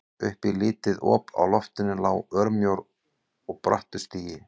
Upp í lítið op á loftinu lá örmjór og brattur stigi.